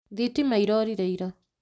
Thitima irorire ira